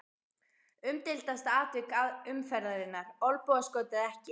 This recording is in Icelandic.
Umdeildasta atvik umferðarinnar: Olnbogaskot eða ekki?